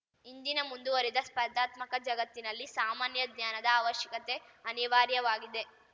ಇಂದಿನ ಮುಂದುವರಿದ ಸ್ಪರ್ಧಾತ್ಮಕ ಜಗತ್ತಿನಲ್ಲಿ ಸಾಮಾನ್ಯ ಜ್ಞಾನದ ಅವಶ್ಯಕತೆ ಅನಿವಾರ್ಯವಾಗಿದೆ